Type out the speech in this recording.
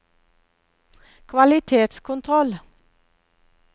kvalitetskontroll